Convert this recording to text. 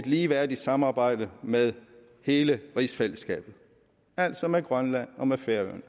ligeværdigt samarbejde med hele rigsfællesskabet altså med grønland og med færøerne